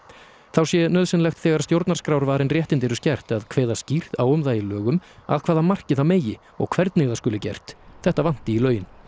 þá sé nauðsynlegt þegar stjórnarskrárvarin réttindi eru skert að kveða skýrt á um það í lögum að hvaða marki það megi og hvernig það skuli gert þetta vanti í lögin